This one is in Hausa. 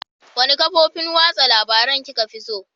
Wanne kafofin watsa labarun kika fi so?